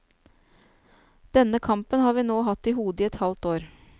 Denne kampen har vi nå hatt i hodet i et halvt år.